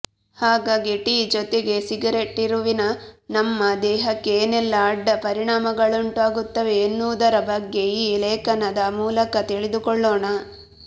ಹಾಗಾಗಿ ಟೀ ಜೊತೆಗೆ ಸಿಗರೇಟ್ತಿರುವಿನ ನಮ್ಮ ದೇಹಕ್ಕೆ ಏನೆಲ್ಲಾ ಅಡ್ಡ ಪರಿಣಾಮಗಳುಂಟಾಗುತ್ತವೆ ಎನ್ನುವುದರ ಬಗ್ಗೆ ಈ ಲೇಖನದ ಮೂಲಕ ತಿಳಿದುಕೊಳ್ಳೋಣ